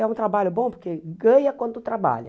É um trabalho bom porque ganha quando trabalha.